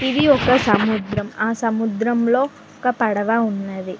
ఇది ఒక సముద్రం ఆ సముద్రంలో ఒక పడవ ఉన్నది.